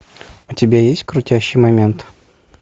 у тебя есть крутящий момент